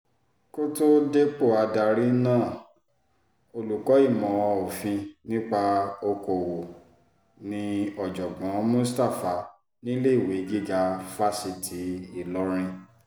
kò tóó dépò adarí náà olùkọ́ ìmọ̀ òfin nípa okòòwò ní ọ̀jọ̀gbọ́n mustapha níléèwé gíga fásitì ìlọrin